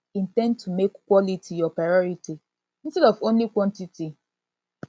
in ten d to make quality your priority instead of only quantity